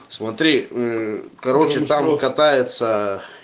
смотри м короче там катается